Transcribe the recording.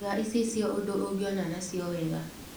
Iga icicio ũndũ ũngĩona na cio wega .